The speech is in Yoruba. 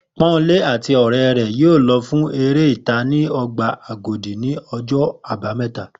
Pó̩nmilé àti àwo̩n ò̩ré̩ rè̩ yóò lo̩ fún eré ìta ní o̩gbà Agodi ní o̩jó̩ Àbámé̩ta